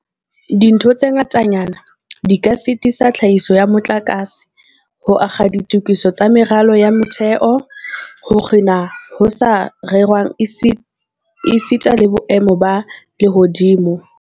Dintho tse ngatanyana di ka sitisa tlhahiso ya motlakase, ho akga ditokiso tsa meralo ya motheo, ho kginwa ho sa rerwang esita le boemo ba lehodimo.